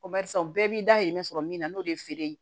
Ko barisa u bɛɛ b'i dahirimɛ sɔrɔ min na n'o de ye feere ye